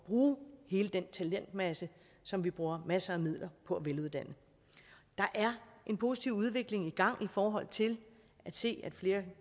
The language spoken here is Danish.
bruge hele den talentmasse som vi bruger masser af midler på veluddannet der er en positiv udvikling i gang i forhold til at se at flere